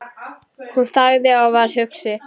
Hún þagði og var hugsi.